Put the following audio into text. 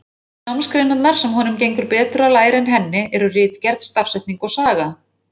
Einu námsgreinarnar, sem honum gengur betur að læra en henni, eru ritgerð, stafsetning og saga.